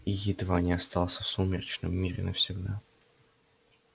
и едва не остался в сумеречном мире навсегда